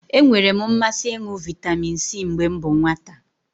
E nwere m mmasị ịṅụ vitamin C mgbe m bụ nwata